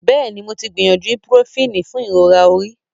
yes, I have tried ibuprofen for headache